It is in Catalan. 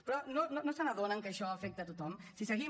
però no se n’adonen que això afecta a tothom si seguim